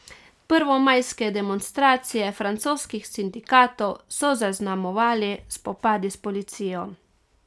Prvomajske demonstracije francoskih sindikatov so zaznamovali spopadi s policijo.